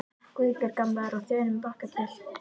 Guðbjörg gamla er á þönum bakatil.